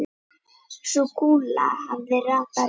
Sú kúla hafði ratað rétt.